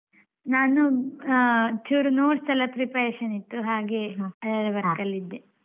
ನಾನು ಆಹ್ ಚುರ್ notes ಎಲ್ಲ preparation ಇತ್ತು ಹಾಗೆ ಅದೇ work ಅಲ್ಲಿ ಇದ್ದೆ ಹಾಗೆ.